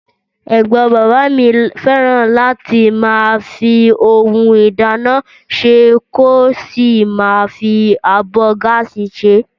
Ẹ̀gbọ́n bàbá mi fẹ́ràn láti máa fi ohun ìdáná sè kó sì máa fi abọ́ gáàsì ṣe